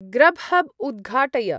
Grubhub उद्घाटय।